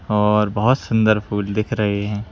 और बहुत सुंदर फूल दिख रहे हैं।